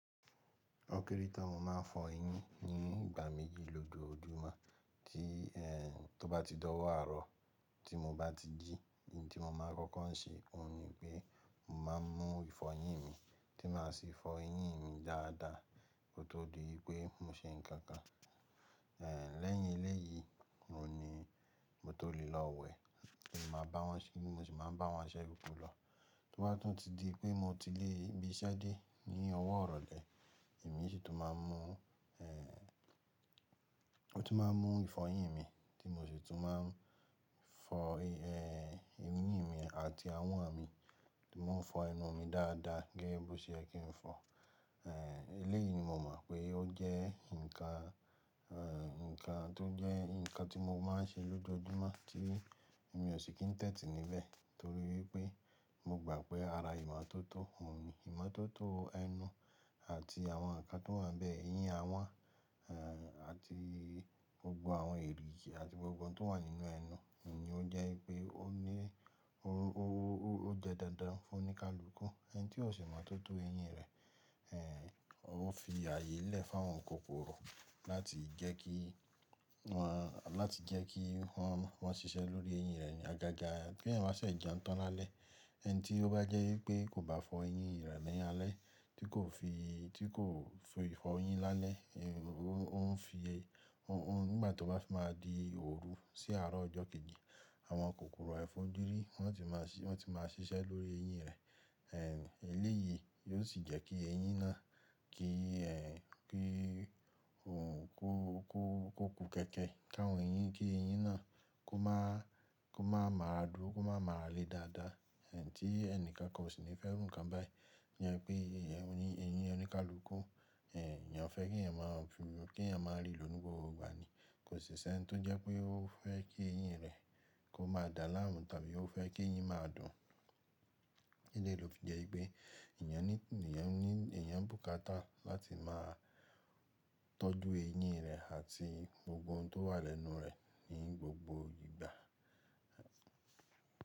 Ó kéré tán mo ma ń fọ eyín ní ìgbà méjì lójojúmọ́, tí ó bá ti di owo arọ tí mo bá ti jí, n tí mo mọ̀ n kọ́kọ́ ṣe òun ni pé mo ma ń mú ìfọyín mi tí ma sì fọ eyín mi dada kó tó di wípé mo ṣe ǹkankan lẹ́yìn eléyìí, òhun ni mo tó lè lọ wẹ̀, mo sì máa ń bá wọn ṣẹ́ gbogbo lọ. Tó bá tún ti di pé mo ti ibi iṣẹ́ dé ní ọwọ́ irọ lẹ́, èmi sì tún máa ń mú, mó tún máa ń mú ìfọyín mi tí mo sì tún máa ń fọ, eyín mi àti ahọ́n mi, tí mò ń fọ ẹnu mi dáadáa gẹ́gẹ́ bó ṣe yẹ kí n fọ. Eléyìí ni mo mọ̀ pé ó jẹ́ nǹkan, nǹkan tó jẹ́ nǹkan tí mo máa ń ṣe lójoojúmọ́ tí èmi ò sì kí ń tẹ́tì níbẹ̀ torí wípé mo gbà pé ara ìmọ́tótó, òun ni ìmọ́tótó ẹnu àti àwọn nǹkan tó wà níbẹ̀, eyín à wọ́n, àti gbogbo àwọn èrìgi àti gbogbo ohun tó wà nínú ẹnu ni ó jẹ́ wípé ó ní, ó jẹ́ dandan fún oníkálukú. Ẹni tí ó ṣe ìmọ̀ tótó eyín rẹ̀, ó fi ààyè lẹ̀ fún àwọn kòkòrò láti jẹ́ kí wọ́n, láti jẹ́ kí wọ́n, wọ́n ṣiṣẹ́ lórí eyín rẹ̀ ní àgàgà tí èyàn bá ṣẹ̀ jẹun tán lálẹ́. Ẹni tí ó bá jẹ́ wí pé kò bá fọ eyín rẹ̀ ní alẹ́ tí kò fi tí kò fi fọyín lálẹ́ nígbà tí ó bá fi ma di òru sí àrọ̀ ọjọ́ kejì àwọn kòkòrò àìfojúrí wọn ti ma ṣiṣẹ́ ní orí eyín rẹ̀ eléyìí yí ó sì jẹ́ kí eyín náà, kí òun kú, kú, kú kẹ́ẹ̀kẹ́ ká àwọn eyín kí eyín náà kó má, kó má máa ra dúró, kó má máa ra le dáadáa. Tí ẹni kankan ò sì ní fẹ́ irú inkan bẹ́, ìyẹn ni pé eyín oníkálùkù èyàn fẹ́ kí èyàn mo ri lo ní gbogbo ìgbà ni kò sì ṣẹ́ n tó jẹ́ pé ó fẹ́ kí eyín rẹ̀ kó má dá láàmú tàbí ó fẹ́ kí eyín má dùn. Eléyìí ló fi jẹ́ wípé èyàn ní, èyàn ní, èyan ni bùkátà láti má tọ́jú eyín rẹ̀ àti gbogbo ohun tó wà lẹ́nu rẹ̀ ní gbogbo ìgbà.